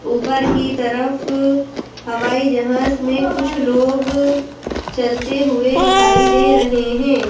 ऊपर की तरफ हवाई जहाज में कुछ लोग चलते हुए दिखाई दे रहे हैं।